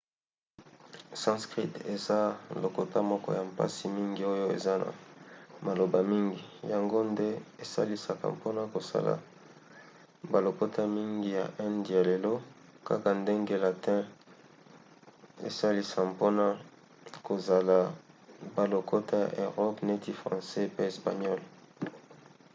sanskrit eza lokota moko ya mpasi mingi oyo eza na maloba mingi yango nde esalisaka mpona kosala balokota mingi ya inde ya lelo kaka ndenge latin esalisa mpona kosala balokota ya erope neti francais pe espagnole